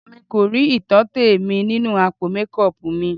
Èmi kò rí ìtọ́tẹ̀ mi nínú àpò mékọọpù mi.